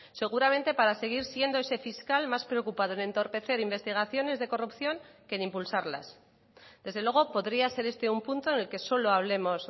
seguramente para seguir siendo ese fiscal más preocupado en entorpecer investigaciones de corrupción que en impulsarlas desde luego podría ser este un punto en el que solo hablemos